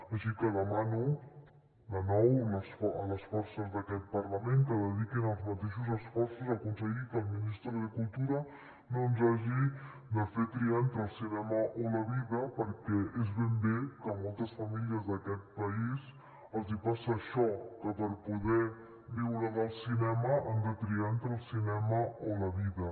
així que demano de nou a les forces d’aquest parlament que dediquin els mateixos esforços a aconseguir que el ministro de cultura no ens hagi de fer triar entre el cinema o la vida perquè és ben bé que moltes famílies d’aquest país els passa això que per poder viure del cinema han de triar entre el cinema o la vida